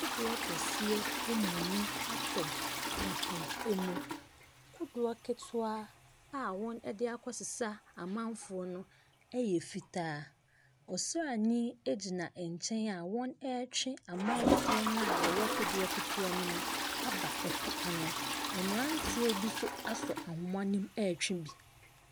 Kodoɔ kɛseɛ amuni atɔ ɛpo emu, kodoɔ ketewa a wɔn ɛde akɔsesa amanfoɔ no ɛyɛ fitaa. Ɔsranii egyina ɛnkyɛn a wɔn ɛɛtwɛ amanfoɔ na ɔwɔ kodoɔ ketewa no mu aba ɛpo ano. Ɛmmeranteɛ bi so asɔ ahoma no mu ɛɛtwe bi.